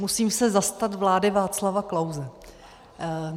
Musím se zastat vlády Václava Klause.